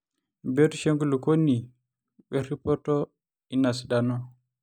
embiotishu enkulukuoni we rripoto ina sidano